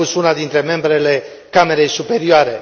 a spus una dintre membrele camerei superioare.